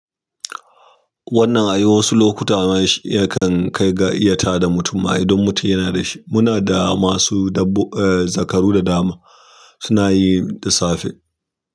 Wannan a yi wasu lokuta ya kan kai ga iya tada mutum ma idan mutum yana da shi. Muna da masu dabb- eh, zakaru da dama suna yi da safe.